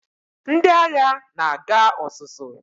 Ndị agha na-aga ọzụzụ